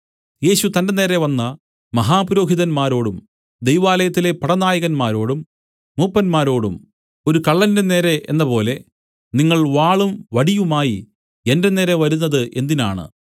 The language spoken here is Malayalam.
യേശു തന്റെ നേരെ വന്ന മഹാപുരോഹിതന്മാരോടും ദൈവാലയത്തിലെ പടനായകന്മാരോടും മൂപ്പന്മാരോടും ഒരു കള്ളന്റെ നേരെ എന്നപോലെ നിങ്ങൾ വാളും വടിയുമായി എന്റെ നേരെ വരുന്നത് എന്തിനാണ്